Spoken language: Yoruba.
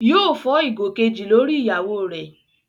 Yóò fọ́ ìgò kejì lórí ìyàwó rẹ̀